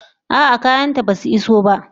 A'a, kayanta basu iso ba.